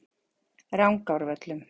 Rangárvöllum